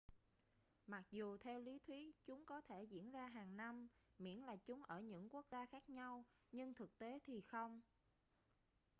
mặc dù theo lý thuyết chúng có thể diễn ra hàng năm miễn là chúng ở những quốc gia khác nhau nhưng thực tế thì không